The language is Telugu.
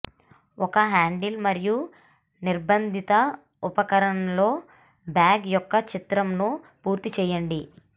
ఒక హ్యాండిల్ మరియు నిర్బంధిత ఉపకరణాల్లో బ్యాగ్ యొక్క చిత్రంను పూర్తి చేయండి